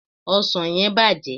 osan yen bàjé